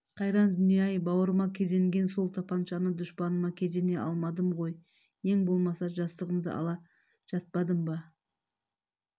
қайран дүние-ай бауырыма кезеңген сол тапаншаны дұшпаныма кезене алмадым ғой ең болмаса жастығымды ала жатпадым бар